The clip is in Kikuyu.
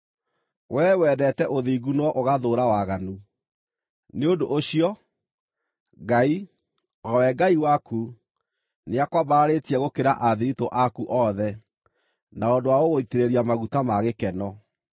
Wee wendete ũthingu no ũgathũũra waganu; nĩ ũndũ ũcio, Ngai, o we Ngai waku, nĩakwambararĩtie gũkĩra athiritũ aku othe na ũndũ wa gũgũitĩrĩria maguta ma gĩkeno.”